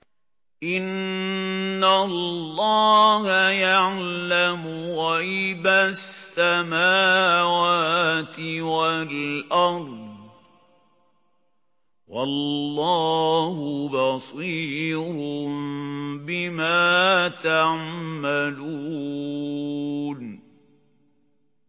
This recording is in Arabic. إِنَّ اللَّهَ يَعْلَمُ غَيْبَ السَّمَاوَاتِ وَالْأَرْضِ ۚ وَاللَّهُ بَصِيرٌ بِمَا تَعْمَلُونَ